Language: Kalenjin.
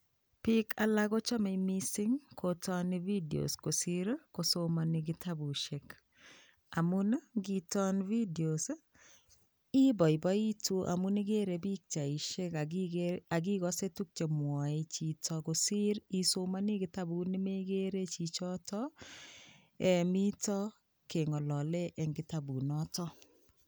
Biik alaak kochame missing kotani [videos] kosiir ii kosomanei kitabusiek amuun ii initaani videos ibaibaitii amuun igere pichaisheek ak igase tuguuk che mwae chito kosiir kipsomaniat kitabut ne megere chichotoon eeh miten kengalalen eng kitabuut notoon.